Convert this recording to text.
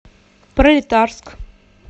пролетарск